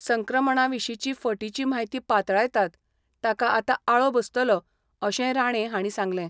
संक्रमणाविशीची फटीची म्हायती पातळायतात, ताका आता आळो बसतलो, अशेंय राणे हांणी सांगले.